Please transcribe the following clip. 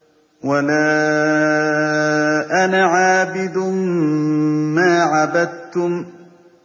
وَلَا أَنَا عَابِدٌ مَّا عَبَدتُّمْ